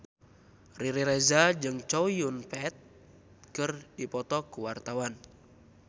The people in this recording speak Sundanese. Riri Reza jeung Chow Yun Fat keur dipoto ku wartawan